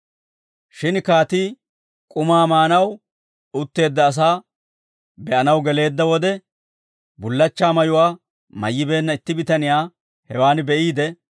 «Shin kaatii k'umaa maanaw utteedda asaa be'anaw geleedda wode, bullachchaa mayuwaa mayyibeenna itti bitaniyaa hewaan be'iide,